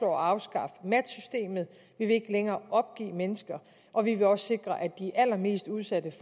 at afskaffe matchsystemet vi vil ikke længere opgive mennesker og vi vil også sikre at de allermest udsatte